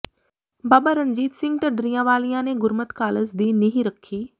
ਬਾਬਾ ਰਣਜੀਤ ਸਿੰਘ ਢੱਡਰੀਆਂ ਵਾਲਿਆਂ ਨੇ ਗੁਰਮਤਿ ਕਾਲਜ਼ ਦੀ ਨੀਹ ਰੱਖੀ